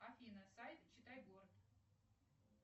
афина сайт читай город